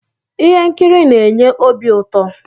ihe nkiri na-enye obi uto